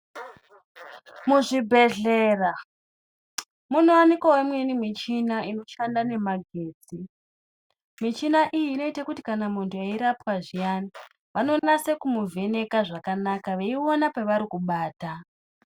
Muzvibhehlera munowanikwawo imweni michina inoshanda nemagetsi. Michina iyi inoite kuti kana muntu eirapwa zviyana vanonase kumuvheneka zvakana veione pavari kubata.